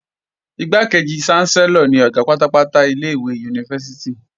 Igbákejì ṣánsẹ́lọ̀ ni Ọ̀gá pátápátá ilé-ìwé yunifásítì